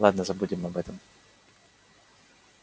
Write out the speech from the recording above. ладно забудем об этом